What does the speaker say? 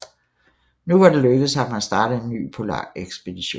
Nu var det lykkedes ham at starte en ny polarekspedition